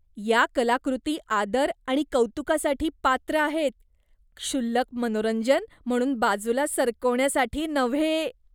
या कलाकृती आदर आणि कौतुकासाठी पात्र आहेत, क्षुल्लक मनोरंजन म्हणून बाजूला सरकवण्यासाठी नव्हे.